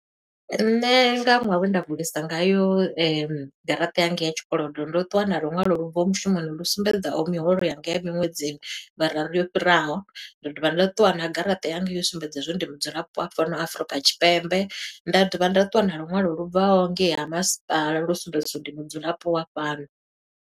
Nṋe nga ṅwaha we nda vulisa ngayo garaṱa yanga ya tshikolodo ndo ṱuwa na lunwalo lu bvaho mushumoni lu sumbedza miholo yanga ya miṅwedzini mararu yo fhiraho. Nda dovha nda ṱuwa na garaṱa yanga yo sumbedza hezwo ndi mudzulapo wa fhano Afrika Tshipembe. Nda dovha nda ṱuwa na lunwalo lu bvaho ngei ha masipala lu sumbedziso ndi mudzulapo wa fhano.